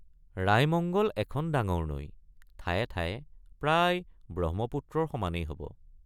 ৰাইমঙ্গল এখন ডাঙৰ নৈ ঠায় ঠায়ে প্ৰায় ব্ৰহ্মপুত্ৰৰ সমানেই হব।